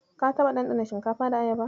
Ka taɓa ɗanɗana shinkafa da Ayaba?